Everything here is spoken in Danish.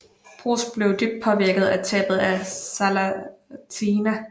Broz blev dybt påvirket af tabet af Zlatina